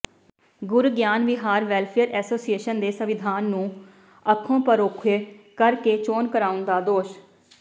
Gurgyan Vihar welfare association ਦੇ ਸੰਵਿਧਾਨ ਨੂੰ ਅੱਖੋਂ ਪਰੋਖੇ ਕਰ ਕੇ ਚੋਣ ਕਰਾਉਣ ਦਾ ਦੋਸ਼